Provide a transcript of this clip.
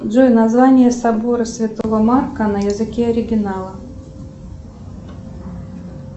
джой название собора святого марка на языке оригинала